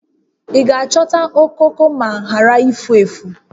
Ị ga-achọta okooko ma ghara ifu efu?